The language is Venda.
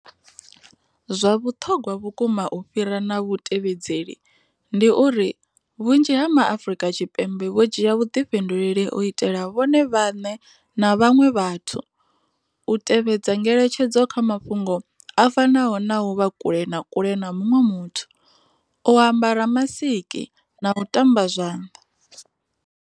Zwa vhuṱhogwa vhukuma u fhira na vhutevhedzeli, ndi uri vhunzhi ha ma Afrika Tshipembe vho dzhia vhuḓifhinduleli u itela vhone vhaṋe na vhaṅwe vhathu, u tevhedza ngeletshedzo kha mafhungo a fanaho na u vha kule na kule na muṅwe muthu, u ambara masiki na u tamba zwanḓa.